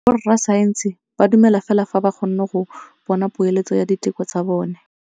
Borra saense ba dumela fela fa ba kgonne go bona poeletsô ya diteko tsa bone.